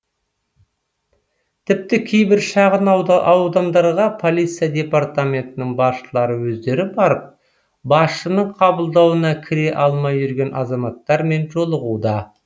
тіпті кейбір шағын аудандарға полиция департаментінің басшылары өздері барып басшының қабылдауына кіре алмай жүрген азаматтармен жолығуда